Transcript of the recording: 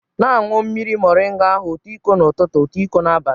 Na-anwụ mmiri moringa ahụ otu iko n'ụtụtụ, otu iko n'abalị